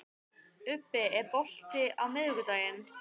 Ubbi, er bolti á miðvikudaginn?